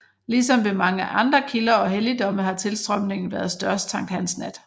Ligesom ved mange andre kilder og helligdomme har tilstrømningen været størst sankthansnat